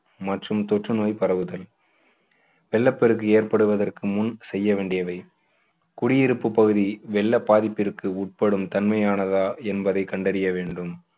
மற்றும் தொற்று நோய் பரவுதல் வெள்ளப்பெருக்கு ஏற்படுவதற்கு முன் செய்ய வேண்டியவை குடியிருப்பு பகுதி வெள்ள பாதிப்பிற்கு உட்படும் தன்மையானதா என்பதை கண்டறிய வேண்டும்